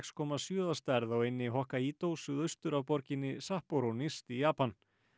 komma sjö að stærð á eynni suðaustur af borginni nyrst í Japan